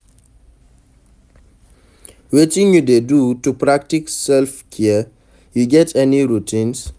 Wetin you dey do to practice self-care, you get any routines?